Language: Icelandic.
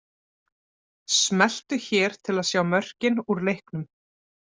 Smellu hér til að sjá mörkin úr leiknum